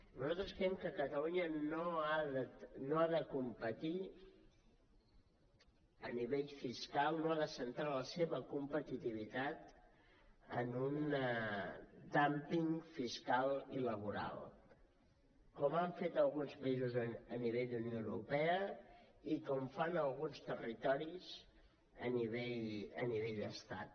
nosaltres creiem que catalunya no ha de competir a nivell fiscal no ha de centrar la seva competitivitat en un dúmping fiscal i laboral com han fet alguns països a nivell d’unió europea i com fan alguns territoris a nivell d’estat